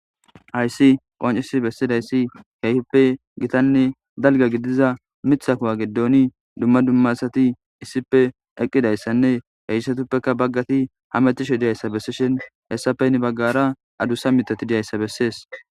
Hayssipe qoncisidi bessidayssi keehippe gitane dalga gidida miththa kuwa giddoni dumma dumma asati issipe eqqidaysanne haysatuppe daro asati hametishe dizaysa bessishin hessapeka heni bagvara adusa miththati dizaysa bessees.